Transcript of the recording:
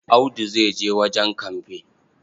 Audu zai je wajen kamfe.